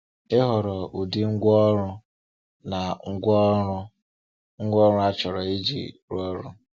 Ịhọrọ ụdị ngwa ọrụ na ngwaọrụ ngwaọrụ achọrọ iji rụọ ọrụ.